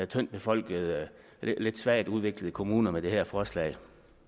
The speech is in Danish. tyndt befolkede lidt svagt udviklede kommuner med det her forslag